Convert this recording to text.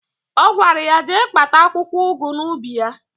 Ọ gwara ya jee kpata akwụkwọụgụ n'ubi ya.